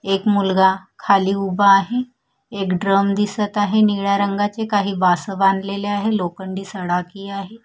एक मुलगा खाली उभा आहे एक ड्रम दिसत आहे निळ्या रंगाचे काही बास बांधलेले आहे लोखंडी सडाकी आहे.